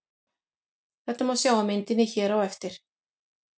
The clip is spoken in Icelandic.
Þetta má sjá á myndinni hér á eftir.